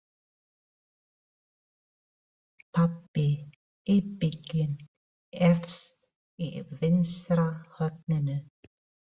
Pabbi íbygginn efst í vinstra horninu.